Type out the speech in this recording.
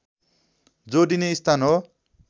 जोडिने स्थान हो